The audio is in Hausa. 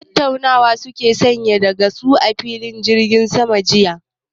Tattaunawa suke yi san da ka gan su a filin jirgin sama jiya?